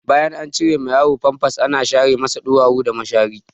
Bayan an cire ma yaro famfas ana share masa ɗuwawu da mashari.